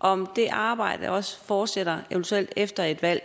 om det arbejde eventuelt også fortsætter efter et valg